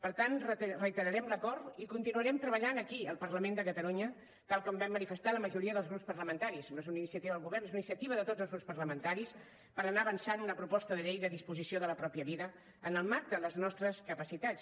per tant reiterarem l’acord i continuarem treballant aquí al parlament de catalunya tal com vam manifestar la majoria dels grups parlamentaris no és una iniciativa del govern és una iniciativa de tots els grups parlamentaris per anar avançant una proposta de llei de disposició de la pròpia vida en el marc de les nostres capacitats